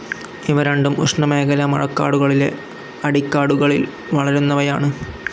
ഇവ രണ്ടും ഉഷ്ണമേഖലാ മഴക്കാടുകളിലെ അടിക്കാടുകളിൽ വളരുന്നവയാണ്.